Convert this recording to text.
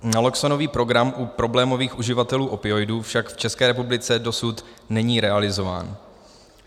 Naloxonový program u problémových uživatelů opioidů však v České republice dosud není realizován.